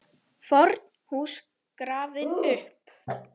FORN HÚS GRAFIN UPP